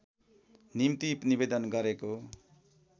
निम्ति निवेदन गरेको